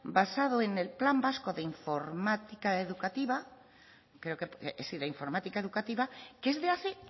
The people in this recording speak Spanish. basado en el plan vasco de informática educativa que es de hace